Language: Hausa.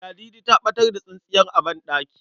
Ladidi ta ɓatar da tsintsiyar banɗaki.